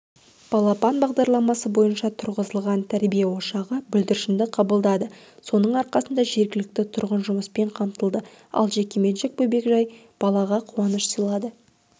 балапан бағдарламасы бойынша тұрғызылған тәрбие ошағы бүлдіршінді қабылдады соның арқасында жергілікті тұрғын жұмыспен қамтылды ал жекеменшік бөбекжай балаға қуаныш сыйлады